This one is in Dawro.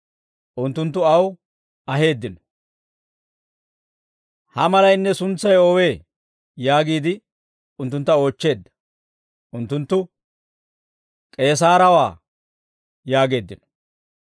Unttunttu aw aheeddino; «Ha malaynne suntsay oowee?» yaagiide unttuntta oochcheedda. Unttunttu, «K'eesaarewaa» yaageeddino.